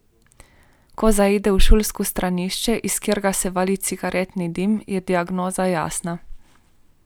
Ko zaide v šolsko stranišče, iz katerega se vali cigaretni dim, je diagnoza jasna.